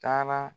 Taara